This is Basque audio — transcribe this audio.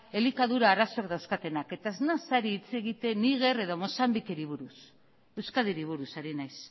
elikadura arazoak dauzkatenak eta ez naiz ari hitz egiten niger edo mozambikeri buruz euskadiri buruz ari naiz